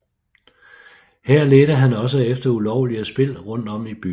Her ledte han også efter ulovlige spil rundt om i byen